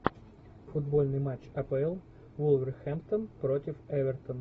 футбольный матч апл вулверхэмптон против эвертон